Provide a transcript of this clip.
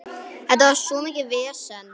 Þetta var svo mikið vesen.